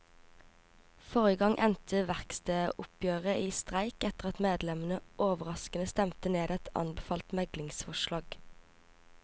Forrige gang endte verkstedoppgjøret i streik etter at medlemmene overraskende stemte ned et anbefalt meglingsforslag.